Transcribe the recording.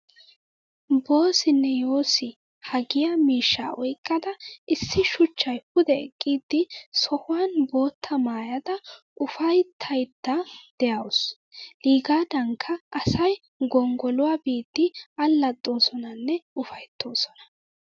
Boossinne yoosi haagiya miishshaa oyqqada issi shuchchay pude eqqidi sohuwan boottaa maayada ufayttayidda de'awusu. Iigaadankka asay gonggoluwaa biidi allaxxoosonanne ufayttoosona.